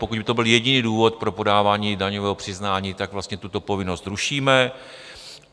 Pokud by to byl jediný důvod pro podávání daňového přiznání, tak vlastně tuto povinnost rušíme.